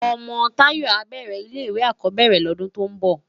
Òmò Tayo á bèrè ilé iwé ákòbèrè lòdún tò n bò